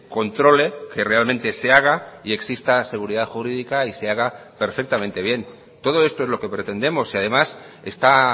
controle que realmente se haga y exista seguridad jurídica y se haga perfectamente bien todo esto es lo que pretendemos si además está